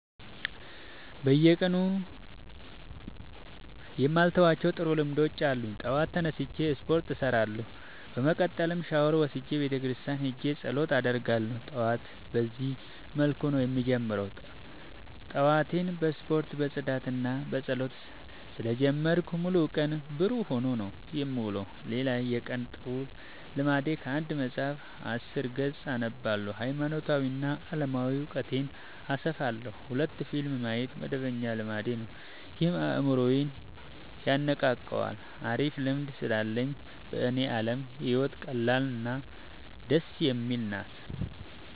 በየቀኑ የማልተዋቸው ጥሩ ልምዶች አሉኝ ጠዋት ተነስቼ ስፓርት እሰራለሁ። በመቀጠልም ሻውር ወስጄ ቤተክርስቲያን ሄጄ ፀሎት አደርጋለሁ ጠዋቴን በዚህ መልኩ ነው የምጀምረው። ጠዋቴን በስፖርት በፅዳትና በፀሎት ስለ ጀመርኩት ሙሉ ቀኔ ብሩህ ሆኖ ነው የምውለው። ሌላ የቀን ጥሩ ልምዴ ከአንድ መፀሀፍ አስር ገፅ አነባለሁ ሀይማኖታዊ እና አለማዊ እውቀቴን አሰፋለሁ። ሁለት ፊልም ማየት መደበኛ ልማዴ ነው ይህም አይምሮዬን የነቃቃዋል አሪፍ ልምድ ስላለኝ በኔ አለም ህይወት ቀላል እና ደስ የምትል ናት።